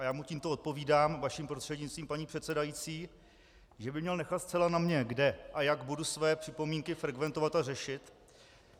A já mu tímto odpovídám vaším prostřednictvím, paní předsedající, že by měl nechat zcela na mně, kde a jak budu své připomínky frekventovat a řešit.